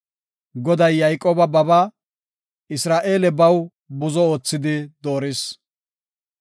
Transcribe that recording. Goday Yayqooba babaa, Isra7eele baw buzo oothidi dooris.